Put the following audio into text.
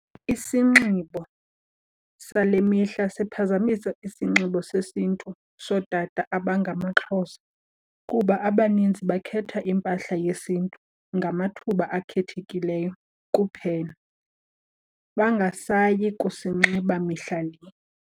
Isinxibo sale mihla siphazamisa isinxibo sesiNtu sootata abangamaXhosa kuba abanintsi bakhetha impahla yesiNtu ngamathuba akhethekileyo kuphela, bangasayi kusinxiba mihla le.